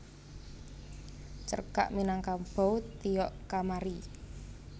Cerkak Minangkabau Tiok Kamari